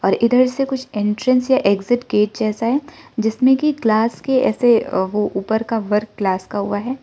और इधर से कुछ एंट्रेंस या एक्जिट गेट जैसा है जिसमे की ग्लास के ऐसे वो ऊपर का वर्क ग्लास का हुआ है।